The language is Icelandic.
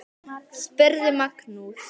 Hver eru fjöll þessi?